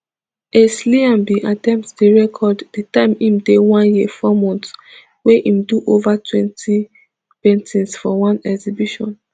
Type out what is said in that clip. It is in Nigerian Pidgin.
ace liam bin attempt di record di time im dey one year four months wey im do ova twenty paintings for one exhibition